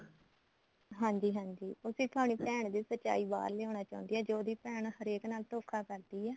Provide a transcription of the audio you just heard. ਹਾਂਜੀ ਹਾਂਜੀ ਉਸੀ ਤੁਹਾਡੀ ਭੈਣ ਦੀ ਸਚਾਈ ਬਹਾਰ ਲਿਆਉਣਾ ਚਾਹੁੰਦੀ ਐ ਜੋ ਉਹਦੀ ਭੈਣ ਹਰੇਕ ਨਾਲ ਧੋਖਾ ਕਰਦੀ ਐ